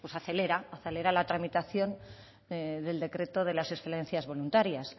acelera la tramitación del decreto de las excedencias voluntarias